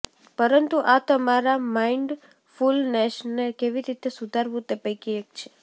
પરંતુ આ તમારા માઇન્ડફુલનેસને કેવી રીતે સુધારવું તે પૈકી એક છે